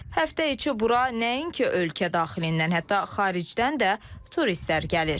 Həftə içi bura nəinki ölkə daxilindən, hətta xaricdən də turistlər gəlir.